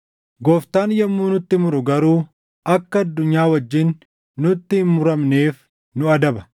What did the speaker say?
Gooftaan yommuu nutti muru garuu akka addunyaa wajjin nutti hin muramneef nu adaba.